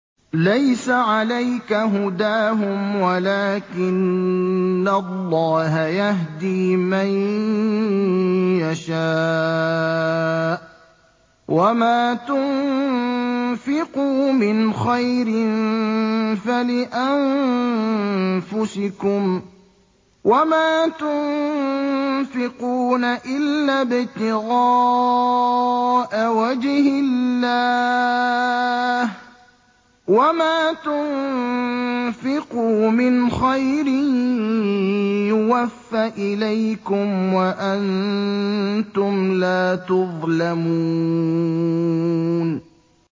۞ لَّيْسَ عَلَيْكَ هُدَاهُمْ وَلَٰكِنَّ اللَّهَ يَهْدِي مَن يَشَاءُ ۗ وَمَا تُنفِقُوا مِنْ خَيْرٍ فَلِأَنفُسِكُمْ ۚ وَمَا تُنفِقُونَ إِلَّا ابْتِغَاءَ وَجْهِ اللَّهِ ۚ وَمَا تُنفِقُوا مِنْ خَيْرٍ يُوَفَّ إِلَيْكُمْ وَأَنتُمْ لَا تُظْلَمُونَ